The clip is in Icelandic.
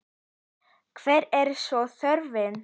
Hver er svo þörfin?